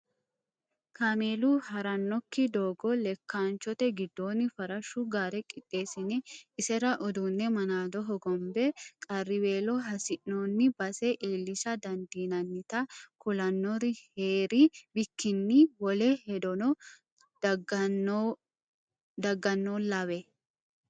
Kaameelu haranokki doogo lekkanchote giddooni farashu gaare qixeessine isera uduune manado hogombe qarriwello hasiino'ni base iillisha dandiinannitta ku'lanori heeri bikkinni wole hedono daganollawe.